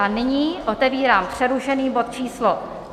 A nyní otevírám přerušený bod číslo